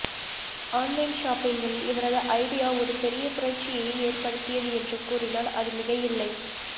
online ஷாப்பிங்கில் இவரது idea ஒரு பெரிய புரட்சியையே ஏற்படுத்தியது என்று கூறினால் அது மிகையில்லை